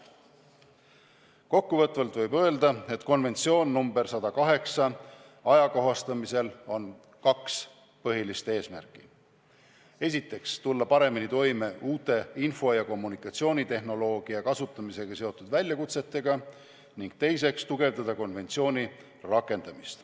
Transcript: Kokkuvõtvalt võib öelda, et konventsiooni ajakohastamisel on kaks peamist eesmärki: esiteks tulla paremini toime uute info- ja kommunikatsioonitehnoloogia kasutamisega seotud väljakutsetega ning teiseks tugevdada konventsiooni rakendamist.